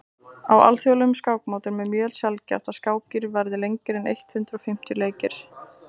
á alþjóðlegum skákmótum er mjög sjaldgæft að skákir verði lengri en eitt hundruð fimmtíu leikir